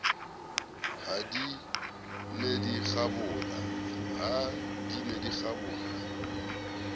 ha di ne di kgabola